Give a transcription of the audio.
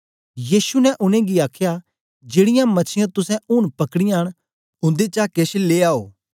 यीशु ने उनेंगी आखया जेड़ीयां मछीयां तुसें ऊन पकड़ीयां न उन्देचा केछ लियाओ